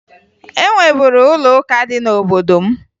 E nweburu ụlọụka dị n'obodo m